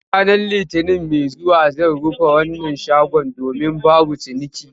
Ranar Litinin mai zuwa zan rufe wannan shagon domin babu ciniki